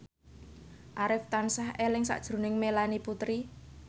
Arif tansah eling sakjroning Melanie Putri